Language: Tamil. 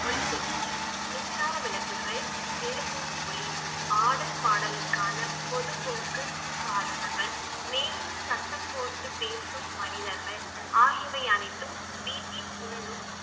ஒலிபெருக்கி, மின்சார விளக்குகள், எழுப்பும் ஒலி, ஆடல் பாடலுக்கான பொதுப் போக்கு சாதனங்கள் மேலும் சத்தம் போட்டு பேசும் மனிதர்கள், ஆகியவை அனைத்தும் வீட்டின் உள்ளும்